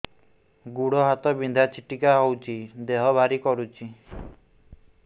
ଗୁଡ଼ ହାତ ବିନ୍ଧା ଛିଟିକା ହଉଚି ଦେହ ଭାରି କରୁଚି